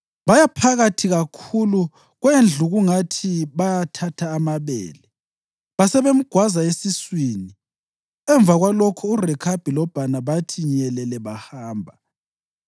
Baya phakathi kakhulu kwendlu kungathi bayathatha amabele, basebemgwaza esiswini. Emva kwalokho uRekhabi loBhana bathi nyelele bahamba.